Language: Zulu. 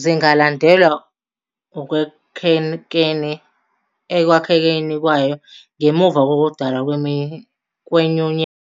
zingalandelwa ekwakhekeni kwayo ngemuva kokudalwa kweNyunyana yaseNingizimu Afrika ngo-1910.